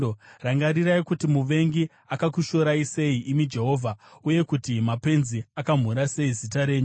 Rangarirai kuti muvengi akakushorai sei, imi Jehovha, uye kuti mapenzi akamhura sei zita renyu.